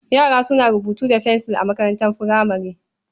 Yara suna rubutu da fensil a makarantar furamare.